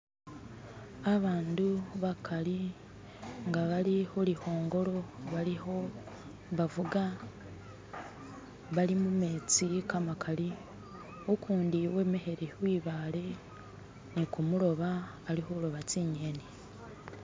Abandu bakali nga bali khuli khongolo balikhubafuga, bali mumetsi kamakali, ukundi wemekhile khwibale nikumuloba alikhuoba tsi ng'eni.